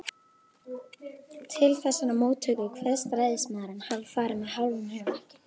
Til þessarar móttöku kveðst ræðismaðurinn hafa farið með hálfum huga.